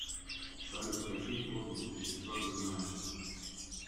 салют какие плотность вещества ты знаешь